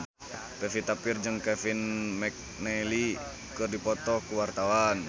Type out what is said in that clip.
Pevita Pearce jeung Kevin McNally keur dipoto ku wartawan